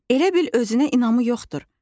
Elə bil özünə inamı yoxdur.